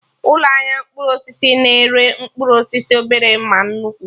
Ụlọ ahịa mkpụrụ osisi na-ere mkpụrụ osisi obere ma nnukwu